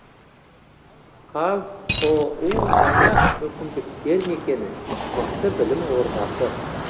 қазұу жаңа мүмкіндіктер мекені мықты білім ордасы